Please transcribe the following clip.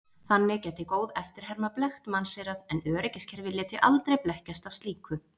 Þannig gæti góð eftirherma blekkt mannseyrað en öryggiskerfi léti aldrei blekkjast af slíku.